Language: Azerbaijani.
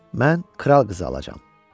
Mən kral qızı alacam.